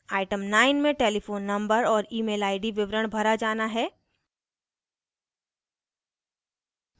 item 9 में telephone number और email id विवरण भरा जाना है